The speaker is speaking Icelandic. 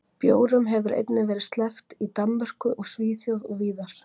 bjórum hefur einnig verið sleppt í danmörku og svíþjóð og víðar